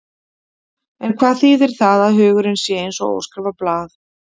En hvað þýðir það að hugurinn sé eins og óskrifað blað?